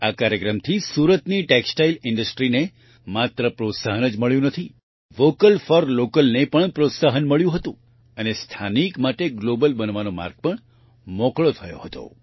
આ કાર્યક્રમથી સુરતની ટેક્સટાઇલ Industryને માત્ર પ્રોત્સાહન જ મળ્યું નથી વોકલ ફોર Localવોકલ ફોર લોકલ ને પણ પ્રોત્સાહન મળ્યું હતું અને સ્થાનિક માટે ગ્લોબલ બનવાનો માર્ગ પણ મોકળો થયો હતો